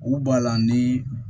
U b'a la ni